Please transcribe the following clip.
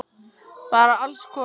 Bara alls konar!